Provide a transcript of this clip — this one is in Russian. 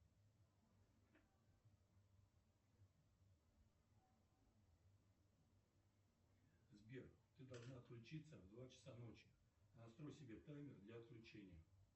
сбер ты должна отключиться в два часа ночи настрой себе таймер для отключения